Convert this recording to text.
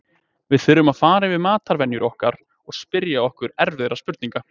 Við þurfum fara yfir matarvenjur okkar og spyrja okkur erfiðra spurninga.